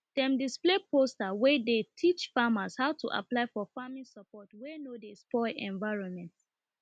dem display posters wey dey teach farmers how to apply for farming support wey no dey spoil environment